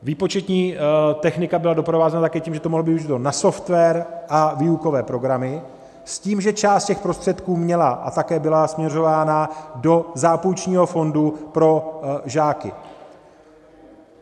Výpočetní technika byla doprovázena také tím, že to mohlo být využito na software a výukové programy, s tím, že část těch prostředků měla a také byla směrována do zápůjčního fondu pro žáky.